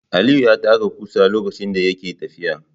Aliyu ya taka ƙusa lokacin da yake tafiya.